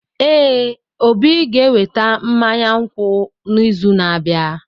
Ee, Obi ga-eweta mmanya nkwụ n’izu na-abịa.